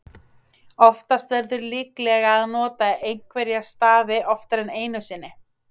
Oftast verður líklega að nota einhverja stafi oftar en einu sinni.